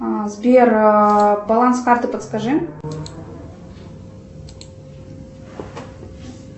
сбер баланс карты подскажи